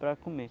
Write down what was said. Para comer.